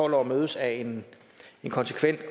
tolv år mødes af en konsekvent